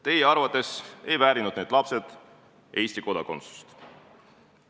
Teie arvates ei väärinud need lapsed Eesti kodakondsust.